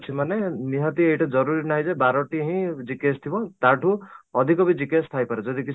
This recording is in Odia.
ଅଛି ମାନେ ନିହାତି ଏଇଟା ଜରୁରୀ ନାହିଁ ଯେ ବାରଟି ହିଁ GKS ଥିବ ତା'ଠୁ ଅଧିକ ବି GKS ଥାଇପାରେ ଯଦି